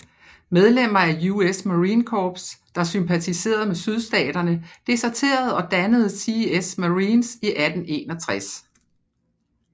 Medlemmer af US Marine Corps der sympatiserede med Sydstaterne deserterede og dannede CS Marines i 1861